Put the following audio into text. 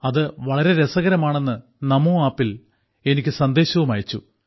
അത് വളരെ രസകരമാണെന്ന് നമോ ആപ്പിൽ എനിക്ക് സന്ദേശവും അയച്ചു